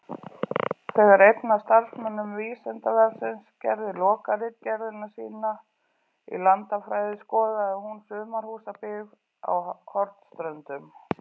Þegar einn af starfsmönnum Vísindavefsins gerði lokaritgerðina sína í landafræði skoðaði hún sumarhúsabyggð á Hornströndum.